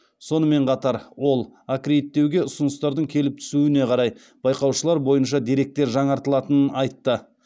сонымен қатар ол аккредиттеуге ұсыныстардың келіп түсуіне қарай байқаушылар бойынша деректер жаңартылатынын айтты